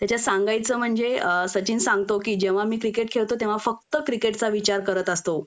त्याच्यात सांगायचं म्हणजे सचिन सांगतो कि जेंव्हा मी क्रिकेट खेळतो तेंव्हा फक्त क्रिकेटचा विचार करत असतो